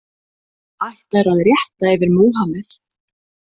Ætlar að rétt yfir Múhammeð